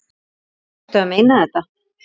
Ertu að meina þetta?